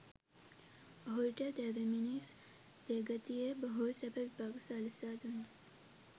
ඔහුට දෙවි මිනිස් දෙගතියේ බොහෝ සැප විපාක සලසා දුන්නා.